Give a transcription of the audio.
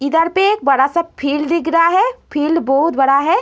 इधर पर एक बड़ा सा फील्ड दिख रहा है। फील्ड बहोत बड़ा है।